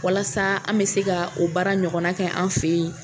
Walasa an bɛ se ka o baara ɲɔgɔnna kɛ an fɛ yen